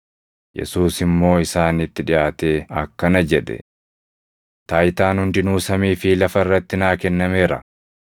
Yesuus immoo isaanitti dhiʼaatee akkana jedhe; “Taayitaan hundinuu samii fi lafa irratti naa kennameera.